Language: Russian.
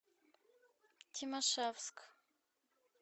тимашевск